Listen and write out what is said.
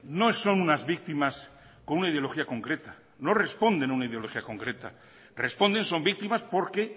no son unas víctimas con una ideología concreta no responden a una ideología concreta responden son víctimas porque